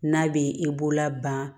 N'a bɛ i bolola ban